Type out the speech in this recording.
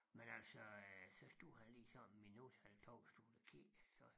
Men altså øh så stod han lige sådan et minut eller 2 stod og kiggede så